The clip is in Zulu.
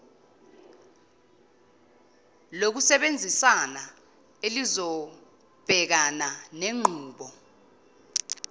lokusebenzisana elizobhekana nenqubo